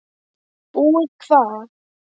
Búið hvað!